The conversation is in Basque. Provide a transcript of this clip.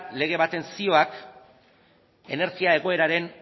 lege baten zioak energia egoeraren